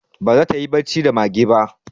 Ba za ta yi bacci da mage ba